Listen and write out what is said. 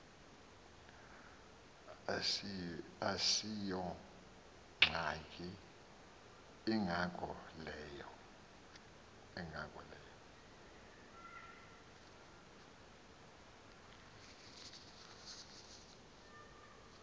asiyongxaki ingako leyo